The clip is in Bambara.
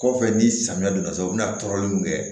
Kɔfɛ ni samiya donna sisan o bi na tɔrɔli min kɛ